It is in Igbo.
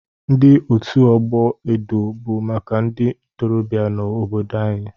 Ndi otu ọgbọ edo bụ maka ndị ntorobịa nọ n'obodo m.